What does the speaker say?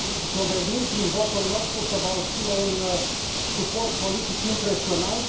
dovedind prin votul nostru că va obține un suport politic impresionant.